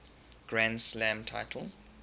grand slam title